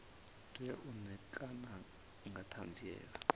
tea u ṋekana nga ṱhanziela